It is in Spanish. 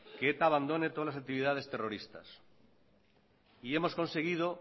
que eta abandone todas las actividades terroristas y hemos conseguido